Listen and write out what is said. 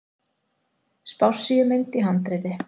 Spássíumynd í handriti.